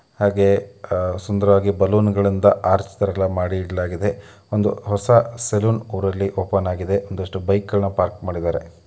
ಹಾಗೇ ಸುಂದರವಾದ ಬಲೂನ್‌ಗಳಿಂದ ಆರ್ಚ್‌ ತರ ಮಾಡಿ ಇಡಲಾಗಿದೆ-- ಒಂದು ಹೊಸ ಸೆಲೂನ್‌ ಅವರಲ್ಲಿ ಓಪನ್‌ ಆಗಿದೆ ಒಂದಿಷ್ಟು ಬೈಕ್‌ಗಳನ್ನು ಪಾರ್ಕ್‌ ಮಾಡಿದ್ದಾರೆ.